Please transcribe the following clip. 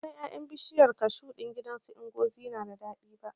Ban san ƴaƴan bishiyar kashu ɗin gidan su Ngozi na da daɗi ba